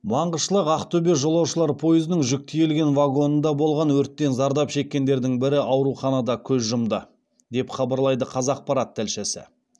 маңғышлақ ақтөбе жолаушылар пойызының жүк тиелген вагонында болған өрттен зардап шеккендердің бірі ауруханада көз жұмды деп хабарлайды қазақпарат тілшісі